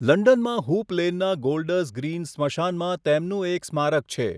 લંડનમાં હૂપ લેનનાં Golders Green સ્મશાનમાં તેમનું એક સ્મારક છે.